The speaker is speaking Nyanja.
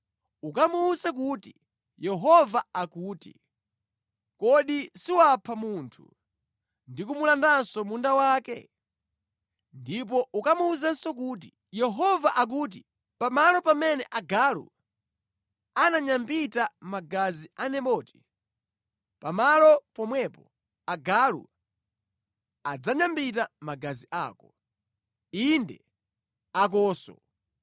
Ukamuwuze kuti: ‘Yehova akuti, Kodi siwapha munthu ndi kumulandanso munda wake?’ Ndipo ukamuwuzenso kuti, ‘Yehova akuti, Pamalo pamene agalu ananyambita magazi a Naboti, pamalo pomwepo agalu adzanyambita magazi ako, inde, akonso!’ ”